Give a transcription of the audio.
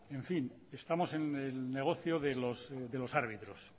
en fin estamos en el negocio de los árbitros